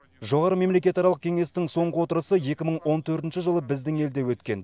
жоғары мемлекетаралық кеңестің соңғы отырысы екі мың он төртінші жылы біздің елде өткен